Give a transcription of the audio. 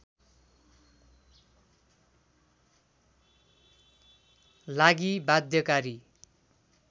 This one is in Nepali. लागि बाध्यकारी